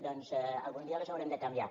doncs algun dia les haurem de canviar